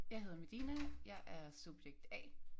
Jeg hedder Medina jeg er subjekt A